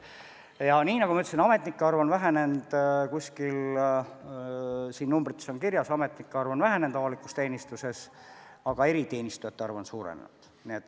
Ja nii nagu ma ütlesin, ametnike arv on vähenenud – kuskil siin numbrites on kirjas – avalikus teenistuses, aga eriteenistujate arv on suurenenud.